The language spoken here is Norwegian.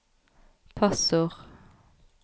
passord